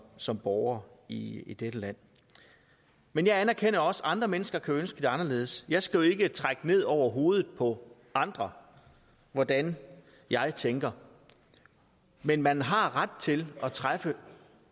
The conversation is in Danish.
som borgere i i dette land men jeg anerkender også at andre mennesker kan ønske det anderledes jeg skal jo ikke trække ned over hovedet på andre hvordan jeg tænker men man har ret til at træffe